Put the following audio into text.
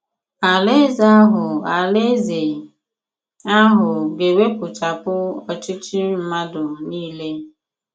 Àlàèzè àhụ Àlàèzè àhụ ga-ewèpụchàpụ òchìchì mmàdù niile.